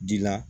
Dila